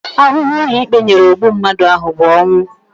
Ahụhụ ụlọikpe nyere ogbu mmadụ ahụ bụ ọnwụ